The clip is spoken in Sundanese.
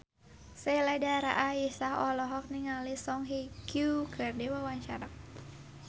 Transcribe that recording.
Sheila Dara Aisha olohok ningali Song Hye Kyo keur diwawancara